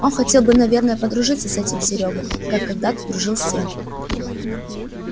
он хотел бы наверное подружиться с этим серёгой как когда-то дружил с тем